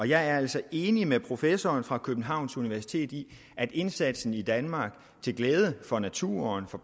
jeg er altså enig med professoren fra københavns universitet i at indsatsen i danmark til glæde for naturen